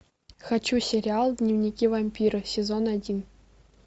хочу сериал дневники вампира сезон один